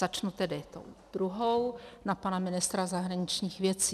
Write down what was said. Začnu tedy tou druhou na pana ministra zahraničních věcí.